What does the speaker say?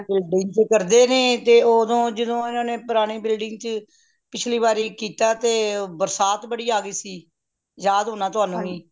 ਕਰਦੇ ਨੇ ਤੇ ਉਹਦੋ ਜਦੋ ਇਹਨਾਂ ਨੇ ਪੁਰਾਣੀ building ਚ ਪਿਛਲੀ ਵਾਰ ਕੀਤਾ ਤੇ ਬਰਸਾਤ ਬੜੀ ਆ ਗਯੀ ਸੀ ਯਾਦ ਹੋਣਾ ਤੁਹਾਨੂੰ ਵੀ